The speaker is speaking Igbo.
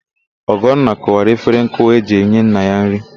Ọgọnna kụwara efere nkụwa e ji enye nna ya nrị.